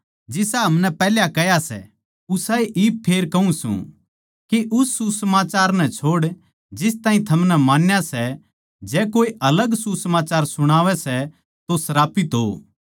जिसा हमनै पैहल्या कह्या सै उसाए मै इब फेर कहूँ सूं के उस सुसमाचार नै छोड़ जिस ताहीं थमनै मान्या सै जै कोऐ अलग सुसमाचार सुणावै सै तो श्रापित हो